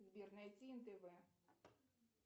сбер найти нтв